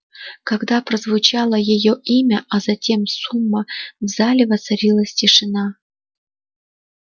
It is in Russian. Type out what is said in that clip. когда прозвучало её имя а затем сумма в зале воцарилась тишина